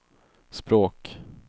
språk